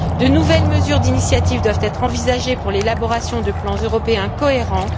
De nouvelles mesures d'initiative doivent être envisagées pour l'élaboration de plans européens cohérents.